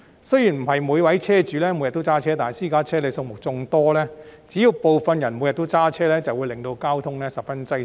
雖然不是每位車主每天也會駕駛私家車，但私家車數目眾多，只要部分駕駛者每天駕駛，便會令交通十分擠塞。